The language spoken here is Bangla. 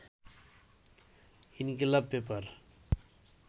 ইনকিলাব পেপার